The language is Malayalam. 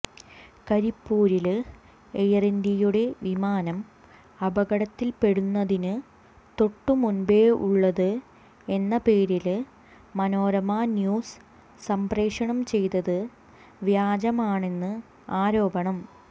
കരിപ്പൂരില് എയര് ഇന്ത്യയുടെ വിമാനം അപകടത്തില്പെടുന്നതിന് തൊട്ടുമുമ്പേുള്ളത് എന്ന പേരില് മനോരമ ന്യൂസ് സംപ്രേഷണം ചെയ്തത് വ്യാജമാണെന്ന് ആരോപണം